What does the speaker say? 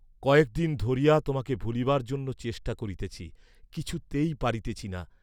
কয়েক দিন ধরিয়া তোমাকে ভুলিবার জন্য চেষ্টা করিতেছি কিছুতেই পারিতেছি না।